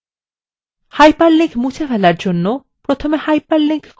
আমরা একটি hyperlink তৈরী করেছি!